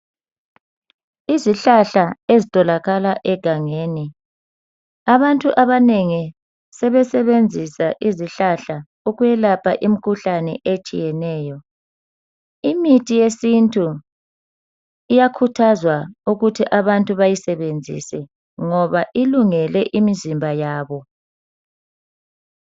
Izihlahla ezitholakala egangeni abantu abanengi sebesebenzisa izihlahla ukwelapha imkhuhlane etshiyeneyo. Imithi yesintu iyakhuthazwa ukuthi abantu bayisebenzise ngoba ilungele imzimba yabo.